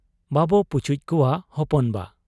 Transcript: ᱵᱟᱵᱚ ᱯᱚᱪᱩᱡ ᱠᱚᱣᱟ ᱦᱚᱯᱚᱱ ᱵᱟ ᱾'